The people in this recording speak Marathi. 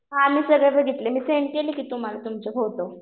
हा मी सगळे बघितले. मी सेंड केले कि तुम्हाला तुमचे फोटो.